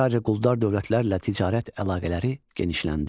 Ayrı-ayrı quldar dövlətlərlə ticarət əlaqələri genişləndi.